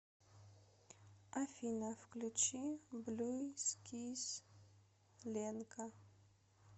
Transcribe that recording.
афина включи блю скис ленка